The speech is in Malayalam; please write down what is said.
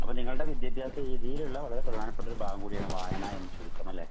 അപ്പൊ നിങ്ങളുടെ വിദ്യാഭ്യാസ രീതിയിലുള്ള വളരെ പ്രധാനപ്പെട്ട ഒരു ഭാഗം കൂടിയാണ് വായന എന്ന് ചുരുക്കം. അല്ലേ?